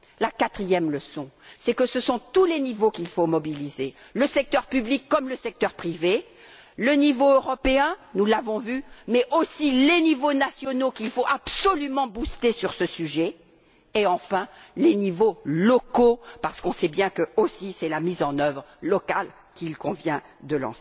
La quatrième leçon, c'est que ce sont tous les niveaux qu'il faut mobiliser le secteur public comme le secteur privé, le niveau européen nous l'avons vu mais aussi les niveaux nationaux qu'il faut absolument stimuler dans ce domaine et, enfin, les niveaux locaux, parce que nous savons bien que c'est aussi la mise en œuvre locale qu'il convient